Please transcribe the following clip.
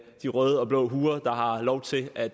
de røde og blå huer der har lov til at